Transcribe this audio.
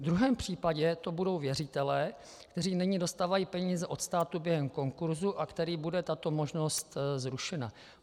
V druhém případě to budou věřitelé, kteří nyní dostávají peníze od státu během konkurzu a kterým bude tato možnost zrušena.